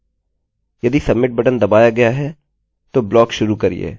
यदि submit button दबाया गया है तो ब्लाक शुरू करिये